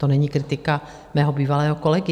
To není kritika mého bývalého kolegy.